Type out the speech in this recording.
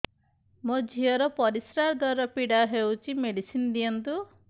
ମୋ ଝିଅ ର ପରିସ୍ରା ଦ୍ଵାର ପୀଡା ହଉଚି ମେଡିସିନ ଦିଅନ୍ତୁ